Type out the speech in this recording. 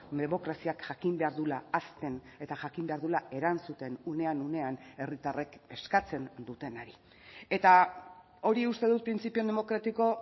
demokraziak jakin behar duela hazten eta jakin behar duela erantzuten unean unean herritarrek eskatzen dutenari eta hori uste dut printzipio demokratiko